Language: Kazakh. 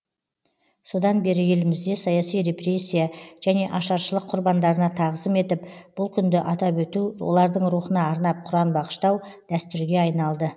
содан бері елімізде саяси репрессия және ашаршылық құрбандарына тағзым етіп бұл күнді атап өту олардың рухына арнап құран бағыштау дәстүрге айналды